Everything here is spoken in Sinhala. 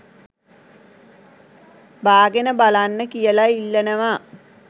බාගෙන බලන්න කියලා ඉල්ලනවා